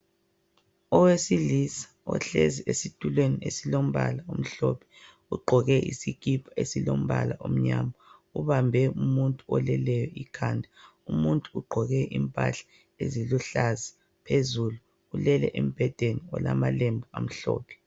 Owesilisa ohlezi esitulweni esilombala omhlophe, ugqoke isikipa esilombala omnyama, ubambe umuntu oleleyo ikhanda. Umuntu ugqoke impahla eziluhlaza phezulu, ulele embhedeni olamalembu amhlophe.